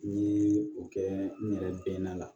N ye o kɛ n yɛrɛ bɛ na